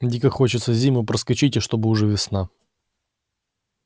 дико хочется зиму проскочить и чтобы уже весна